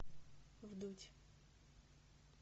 вдудь